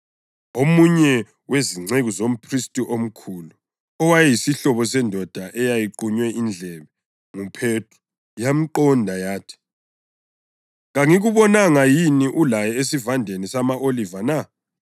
Omunye wezinceku zomphristi omkhulu, owayeyisihlobo sendoda eyaqunywa indlebe nguPhethro yamqonda yathi, “Kangikubonanga yini ulaye esivandeni sama-oliva na?”